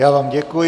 Já vám děkuji.